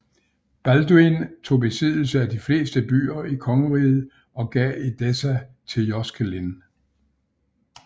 Balduin tog besiddelse af de fleste byer i kongeriget og gav Edessa til Joscelin